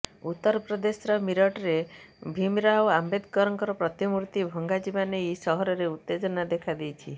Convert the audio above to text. ଉତ୍ତରପ୍ରଦେଶର ମିରଟରେ ଭୀମରାଓ ଆମ୍ବେଦକରଙ୍କ ପ୍ରତିମୂର୍ତ୍ତି ଭଙ୍ଗାଯିବା ନେଇ ସହରରେ ଉତ୍ତେଜନା ଦେଖାଦେଇଛି